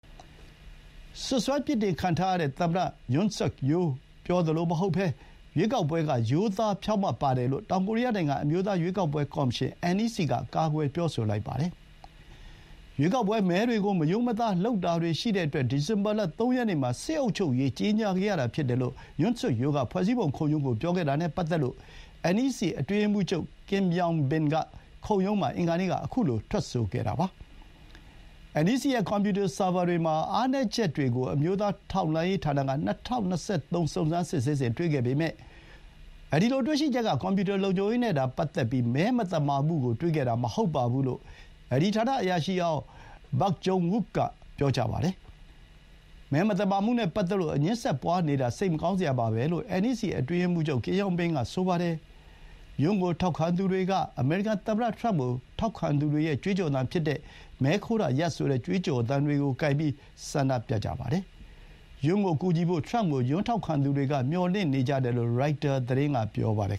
စွပ်စွဲ ပြစ်တင်ခံထားရတဲ့ သမ္မတ ယွန်းဆွတ်ခ်ယိုးလ် (Yoon Suk Yeol) ပြောသလိုမဟုတ်ဘဲ ရွေးကောက်ပွဲက ရိုးသား ဖြောင့်မတ်တယ်လို့ တောင်ကိုရီးယားနိုင်ငံ၊ အမျိုးသား ရွေးကောက်ပွဲ ကော်မရှင် (NEC) က ကာကွယ်ပြောဆိုလိုက်ပါတယ်။ ရွေးကောက်ပွဲ မဲတွေကို မရိုးမသားလုပ်တာတွေ ရှိတဲ့အတွက် ဒီဇင်ဘာလ ၃ ရက်နေ့မှာ စစ်အုပ်ချုပ်ရေး ကြေညာခဲ့ရတာဖြစ်တယ်လို့ ယွန်းဆွတ်ခ် ယိုးလ်က ဖွဲ့စည်းပုံခုံရုံးကို ပြောခဲ့တာနဲ့ ပတ်သက်လို့ NEC အတွင်းရေးမှူးချုပ် ကင်ယောင်ဘင် (Kim Yong-bin) က ခုံရုံးမှာ အင်္ဂါနေ့က ခုလို ထွက်ဆိုခဲ့တာပါ။ NEC ရဲ့ ကွန်ပျူတာ ဆာဗာတွေမှာ အားနည်းချက်တွေကို အမျိုးသား ထောက်လှမ်းရေးဌာနက ၂၀၂၃ စုံစမ်းစစ်ဆေးစဥ် တွေ့ခဲ့ပေမဲ့ သူတို့တွေ့ရှိချက်က ကွန်ပျူတာ လုံခြုံရေးနဲ့သာ ပတ်သက်ပြီး မဲမသမာမှုကို တွေ့ခဲ့တာမဟုတ်ဘူးလို့ အဲဒီဌာန အရာရှိဟောင်း ဘတ်ဂျုံဝုခ် (Baek Jong-wook) က ပြောပါတယ်။ မဲမသမာမှုနဲ့ ပတ်သက်လို့ အငြင်းဆက်ပွါးနေတာ စိတ်မကောင်းစရာပဲလို့ NEC အတွင်းရေးမှူးချုပ် ကင်ယောင်ဘင်က ဆိုပါတယ်။ ယွန်းကို ထောက်ခံသူတွေက အမေရိကန်သမ္မတ ထရမ့်ကို ထောက်ခံသူတွေရဲ့ ကြွေးကြော်သံဖြစ်တဲ့ မဲခိုးတာရပ် ဆိုတဲ့ ကြွေးကြော်သံတွေကိုင်ပြီး ဆန္ဒပြကြပါတယ်။ ယွန်းကိုကူညီဖို့ ထရမ့်ကို ယွန်းထောက်ခံသူတွေက မျှော်လင့်နေကြတယ်လို့ ရိုက်တာသတင်းက ပြောပါတယ်